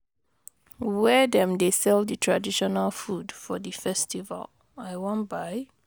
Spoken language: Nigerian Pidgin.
Where dem dey sell di traditional food for di festival, I wan buy?